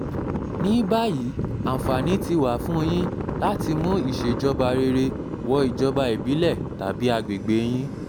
ní báyìí àǹfààní ti wà fún yín láti mú ìṣèjọba rere wọ ìjọba ìbílẹ̀ tàbí àgbègbè yín